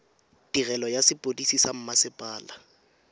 tirelo ya sepodisi sa mmasepala